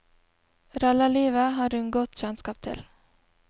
Rallarlivet har hun godt kjentskap til.